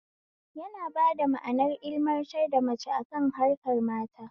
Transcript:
Yana bada manar ilmantar da mace akan harkar mata